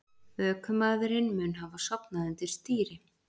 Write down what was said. Ökumaðurinn mun hafa sofnað undir stýri